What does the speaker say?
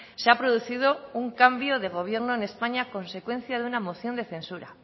se ha producido un cambio de gobierno en españa a consecuencia de una moción de censura